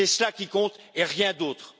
C'est cela qui compte et rien d'autre.